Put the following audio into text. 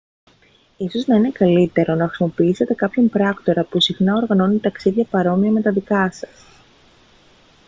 ίσως να είναι καλύτερο να χρησιμοποιήσετε κάποιον πράκτορα που συχνά οργανώνει ταξίδια παρόμοια με τα δικά σας